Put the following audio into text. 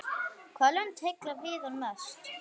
Hvaða lönd heilla Viðar mest?